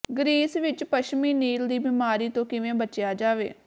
Greece ਵਿਚ ਪੱਛਮੀ Nile ਦੀ ਬਿਮਾਰੀ ਤੋਂ ਕਿਵੇਂ ਬਚਿਆ ਜਾਵੇ